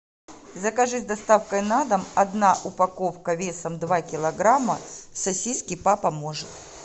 закажи с доставкой на дом одна упаковка весом два килограмма сосиски папа может